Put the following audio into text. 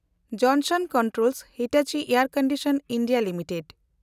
junction Controls Hitachi and conditioning India limited